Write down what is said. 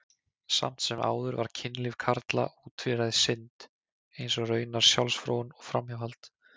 Samt sem áður var kynlíf karla ótvíræð synd, eins og raunar sjálfsfróun og framhjáhald.